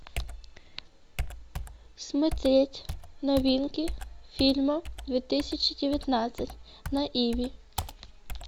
смотреть новинки фильмов две тысячи девятнадцать на иви